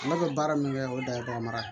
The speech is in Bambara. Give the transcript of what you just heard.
Ne bɛ baara min kɛ o da mara